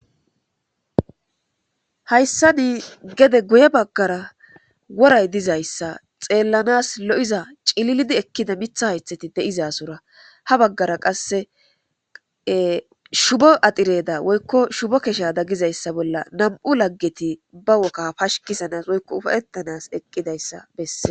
hayssani gede guye baggara woray dizayssa xeellanas lo7iza cililidi ekkida mitha haythati de'izasura ha baggara qasse shubo adireda woykko shubo kesha daggizayssa bolla nam7u laggeti ba woka pashikisanas woykko ufayettanas eqqidayssa besse